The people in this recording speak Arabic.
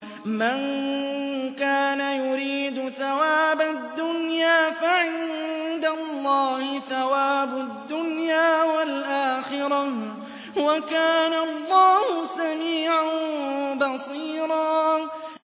مَّن كَانَ يُرِيدُ ثَوَابَ الدُّنْيَا فَعِندَ اللَّهِ ثَوَابُ الدُّنْيَا وَالْآخِرَةِ ۚ وَكَانَ اللَّهُ سَمِيعًا بَصِيرًا